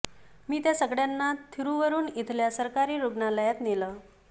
मी त्या सगळ्यांना थिरुवरुर इथल्या सरकारी रुग्णालयात नेलं